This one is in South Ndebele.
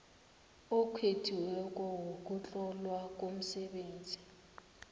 okhethiweko wokuhlolwa komsebenzi